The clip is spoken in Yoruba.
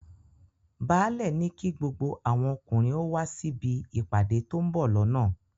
Báálẹ̀ ní kí gbogbo àwọn ọkùnrin ó wá síbi ìpàdé tó ń bọ̀ lọ́nà